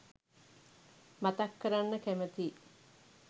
මතක් කරන්න කැමතියි.